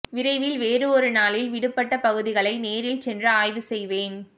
விரைவில் வேறு ஒரு நாளில் விடுபட்ட பகுதிகளை நேரில் சென்று ஆய்வு செய்வேன்